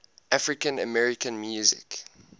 african american music